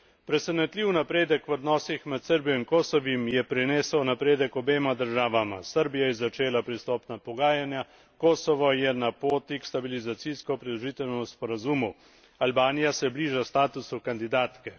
Presenetljiv napredek v odnosih med Srbijo in Kosovim je prinesel napredek obema državama Srbija je začela pristopna pogajanja, Kosovo je na poti k stabilizacijsko pridružitvenemu sporazumu, Albanija se bliža statusu kandidatke.